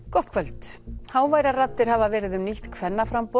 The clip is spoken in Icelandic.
gott kvöld háværar raddir hafa verið um nýtt kvennaframboð